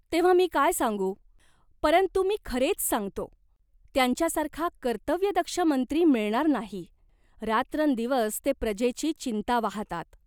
तेव्हा मी काय सांगू ? परंतु मी खरेच सांगतो, त्यांच्यासारखा कर्तव्यदक्ष मंत्री मिळणार नाही रात्रंदिवस ते प्रजेची चिंता वाहातात.